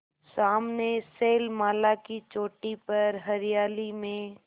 सामने शैलमाला की चोटी पर हरियाली में